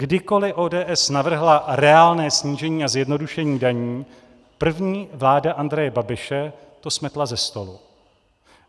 Kdykoliv ODS navrhla reálné snížení a zjednodušení daní, první vláda Andreje Babiše to smetla ze stolu.